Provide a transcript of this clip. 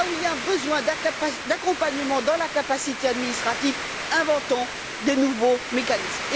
Là où il y a un besoin d'accompagnement dans la capacité administrative, inventons des nouveaux mécanismes.